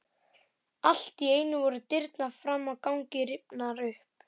Allt í einu voru dyrnar fram á ganginn rifnar upp.